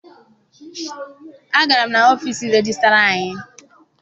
Agara m n'ọfiisi rejistara anyị.